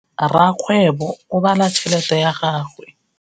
Rakgwêbô o bala tšheletê ya gagwe.